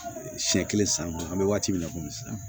Siɲɛ kelen san kɔnɔ an bɛ waati min na komi sisan